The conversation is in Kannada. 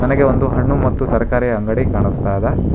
ನನಗೆ ಒಂದು ಹಣ್ಣು ಮತ್ತು ತರಕಾರಿ ಅಂಗಡಿ ಕಾಣಿಸ್ತಾ ಇದೆ.